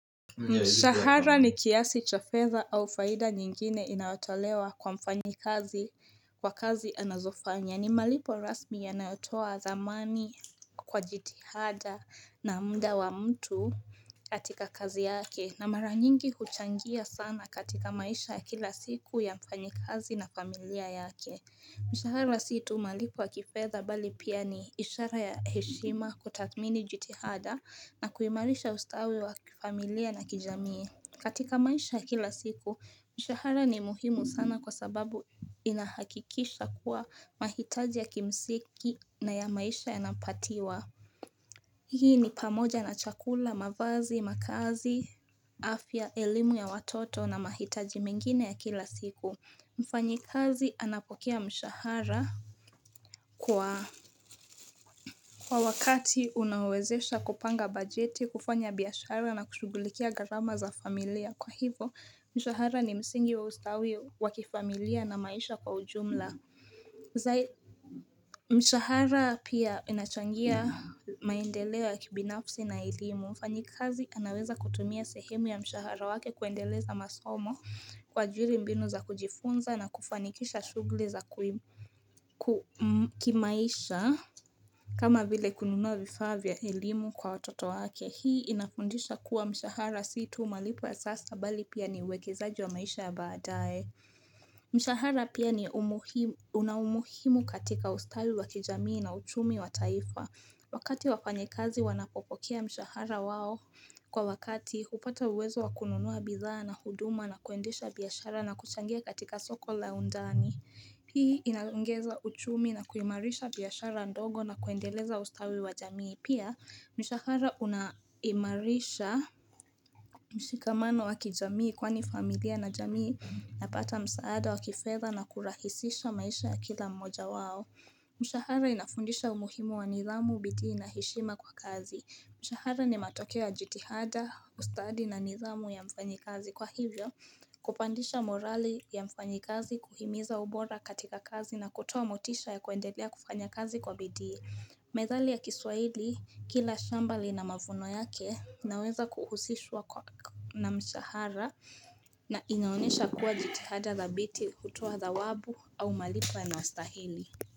Mshahara ni kiasi cha fedha au faida nyingine inaotolewa kwa mfanyikazi kwa kazi anazofanya ni malipo rasmi yanayotoa zamani kwa jitihada na mda wa mtu katika kazi yake na mara nyingi huchangia sana katika maisha ya kila siku ya mfanyikazi na familia yake Mshahara si tu malipo wa kifedha bali pia ni ishara ya heshima kutathmini jitihada na kuimarisha ustawi wa kifamilia na kijamii katika maisha kila siku, mshahara ni muhimu sana kwa sababu inahakikisha kuwa mahitaji ya kimsingina ya maisha yanapatiwa Hii ni pamoja na chakula, mavazi, makazi, afya, elimu ya watoto na mahitaji mingine ya kila siku Mfanyikazi anapokea mshahara kwa wakati unawezesha kupanga bajeti kufanya biashara na kushugulikia gharama za familia kwa hivo mshahara ni msingi wa ustawi wakifamilia na maisha kwa ujumla Zaidi mshahara pia inachangia maendeleo ya kibinafsi na elimu Mfanyikazi anaweza kutumia sehemu ya mshahara wake kuendeleza masomo kwa jiri mbinu za kujifunza na kufanikisha shughuli za kumkimu kimaisha kama vile kununua vifaa vya kielimu kwa watoto wake hii inafundisha kuwa mshahara si tu malipo ya sasa bali pia ni uwekezaji wa maisha ya baadaye Mshahara pia una umuhimu katika ustawi wa kijamii na uchumi wa taifa Wakati wafanyikazi wanapopokea mshahara wao Kwa wakati upata uwezo wa kununua bidhaa na huduma na kuendesha biashara na kuchangia katika soko la undani hii inaongeza uchumi na kuimarisha biashara ndogo na kuendeleza ustawi wa jamii. Pia mshahara unaimarisha mshikamano waki jamii kwani familia na jamii inapata msaada wa kifedha na kurahisisha maisha ya kila mmoja wao. Mshahara inafundisha umuhimu wa nidhamu, bidii na heshima kwa kazi Mshahara ni matokea jitihada, ustadi na niidhamuu ya mfanyikazi Kwa hivyo, kupandisha morali ya mfanyikazi kuhimiza ubora katika kazi na kutoa motisha ya kuendelea kufanya kazi kwa bidii Methalii ya kiswaili, kila shambali na mavuno yake inaweza kuhusishwa na mshahara na inaonesha kuwa jitihada dhabiti kutoa dhawabu au malipo yanayostahili.